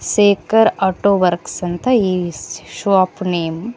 Shekhar auto works ಅಂತ ಈ shop name .